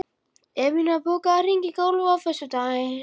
Evfemía, bókaðu hring í golf á föstudaginn.